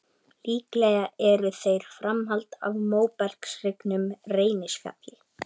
Líklega eru þeir framhald af móbergshryggnum Reynisfjalli.